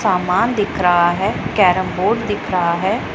सामान दिख रहा है कैरम बोर्ड दिख रहा है।